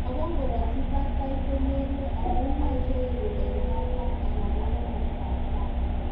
Ago ngoratyi batai ko merue amun yache iru en katam anan ko komastab tai